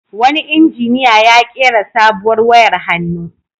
Wani injiniya ya ƙera sabuwar wayar hannu.